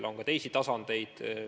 Ja on ka teisi tasandeid.